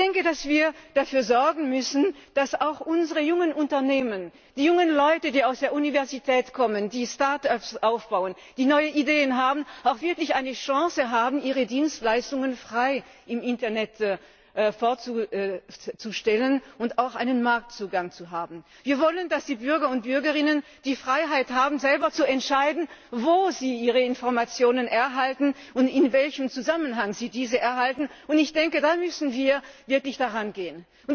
Ich denke, dass wir dafür sorgen müssen, dass unsere jungen Unternehmen, die jungen Leute, die aus der Universität kommen, die Start ups aufbauen, die neue Ideen haben, auch wirklich eine Chance haben, ihre Dienstleistungen frei im Internet vorzustellen und auch einen Marktzugang zu haben. Wir wollen, dass die Bürger und Bürgerinnen die Freiheit haben, selber zu entscheiden, wo sie ihre Informationen erhalten und in welchem Zusammenhang sie diese erhalten. Ich denke, da müssen wir wirklich drangehen.